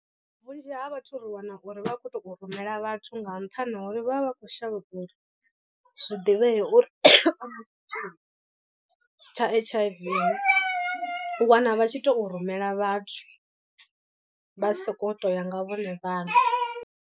Vhunzhi ha vhathu ri wana uri vha khou tou rumela vhathu nga nṱhani ha uri vha vha vha khou shavha uri zwiḓivhee uri vha na tshitzhili tsha H_I_V, u wana vha tshi tou rumela vhathu vha sokou tou ya nga vhone vhaṋe.